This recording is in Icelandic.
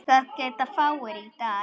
Það geta fáir í dag.